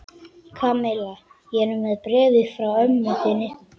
Kamilla, ég er með bréfið frá mömmu þinni.